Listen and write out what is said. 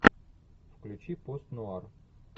включи пост нуар